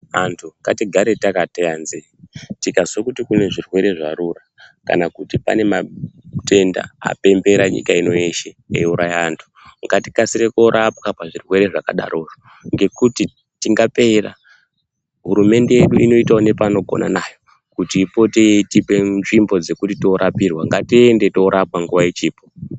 Andu ngatigare takateya nzeye tikazwa kuti kune zvirwere zvarura kana kuti pane matenda apembera nyika ino yeshe euraya andu, ngatikasire koropwa pazvirwere zvakadarozvo ngekuti tingapera. Hurumende yedu inoitawo nepainogona nayo kuti ipote yeitipa nzvimbo dzekuti toropirwa, ngatiende torapwa nguva ichipo.